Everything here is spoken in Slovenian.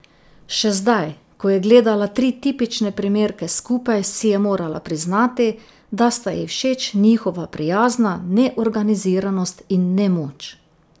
Še zdaj, ko je gledala tri tipične primerke skupaj, si je morala priznati, da sta ji všeč njihova prijazna neorganiziranost in nemoč.